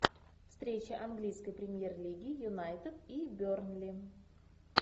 встреча английской премьер лиги юнайтед и бернли